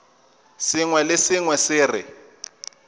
sengwe le sengwe se re